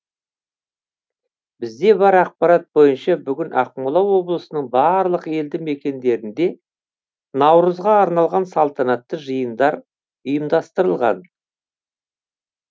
бізде бар ақпарат бойынша бүгін ақмола облысының барлық елді мекендерінде наурызға арналған салтанатты жиындар ұйымдастырылған